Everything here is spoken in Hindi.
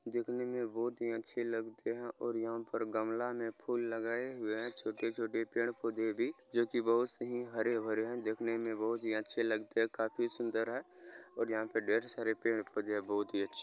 देखने बहुत ही अच्छे लगते है और यहाँ पे गमला में फूल लगाए हुए हैं छोटे-छोटे पड़े-पौधे भी जो की बहुत से ही हरे-भरे हैं देखने में बहुत ही अच्छे लगते हैं काफी सुंदर है और यहाँ पे ढेर सारे पेड़ पौधे हैं बहुत ही अच्छे।